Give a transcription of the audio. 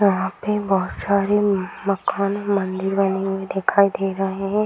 यहाँ पे बहत सारे मकान मंदिर वाइनिंग में दिखाई दे रहे है।